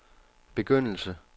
begyndelse